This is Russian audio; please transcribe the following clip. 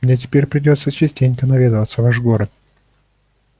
мне теперь придётся частенько наведываться в ваш город